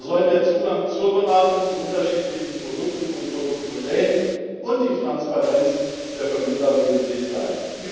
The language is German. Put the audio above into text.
So sollen der Zugang zur Beratung zu unterschiedlichen Produkten und Produktmodellen und die Transparenz der Vermittler wesentlich sein.